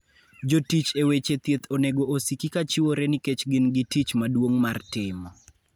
Jotich e weche thieth onego osiki kachiwore nikech gin gi tich maduong' martimo.